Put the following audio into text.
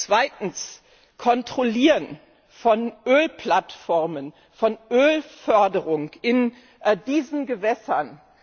Zweitens Kontrollieren von Ölplattformen, von Ölförderung in diesen Gewässern.